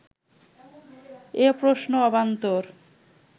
এ প্রশ্ন অবান্তর